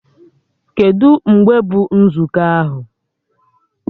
Kedụ mgbe bụ nzukọ ahụ?